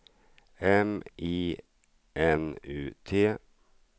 M I N U T